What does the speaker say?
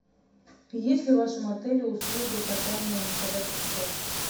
есть ли в вашем отеле услуга катания на собачьих упряжках